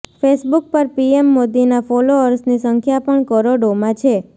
Facebook પર PM મોદીના ફોલઅર્સની સંખ્યા પણ કરોડોમાં છે